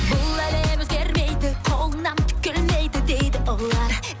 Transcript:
бұл әлем өзгермейді қолыңнан түк келмейді дейді олар